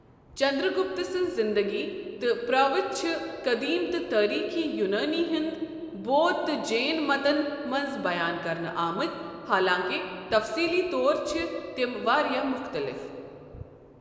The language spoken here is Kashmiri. چنٛدرٕگپت سٕنٛز زِنٛدگی تہٕ پرٛاوتھ چھِ قٔدیٖم تہٕ تٲریٖخی یونٲنۍ، ہیٚنٛدۍ، بودھ تہٕ جین مَتن منٛز بَیان کرنہٕ آمٕتۍ، حالانٛکہِ تفصیٖلی طور چھِ تِم واریاہ مختٕلِف۔